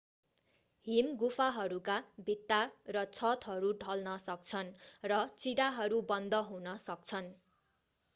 हिमगुफाहरूका भित्ता र छतहरू ढल्न सक्छन् र चिराहरू बन्द हुन सक्छन्